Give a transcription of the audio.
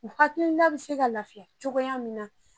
U hakilila bi se ka lafiya cogoya min na